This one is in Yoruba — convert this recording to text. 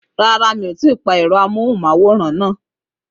Rárá, mi ò tí ì pa ẹ̀rọ amóhùnmáwòrán náà.